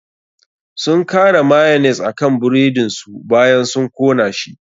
Sun kara mayonnaise akan buredin su bayan sun kona shi.